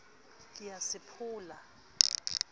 ke ye a se pholla